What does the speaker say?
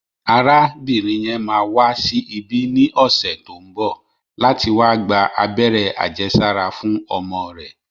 Arábìnrin yẹn máa wá sí ibí ní ọ̀sẹ̀ tó ń bọ̀ láti wá gba abẹ́rẹ́ àjẹsára fún ọmọ rẹ̀